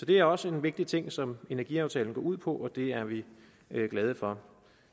det er også en vigtig ting som energiaftalen går ud på og det er vi glade for